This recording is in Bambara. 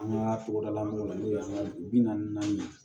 An ka togodalamɔgɔw la n'o ye an ka bi naani naani ye